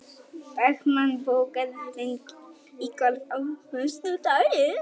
Dagmann, bókaðu hring í golf á föstudaginn.